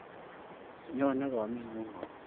Nyonen kameng'ung' au?